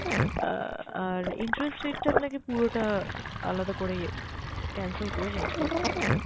আহ আর interest rate টা আপনাকে পুরোটা আলাদা করে cancel করে change করতে হবে।